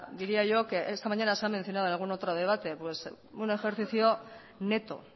diría yo esta mañana se ha mencionado en algún otro debate pues un ejercicio neto